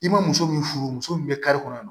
I ma muso min furu muso min bɛ kari kɔnɔ